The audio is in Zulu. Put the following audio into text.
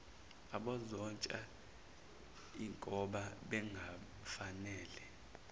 abazonatshwa ingoba bengafanele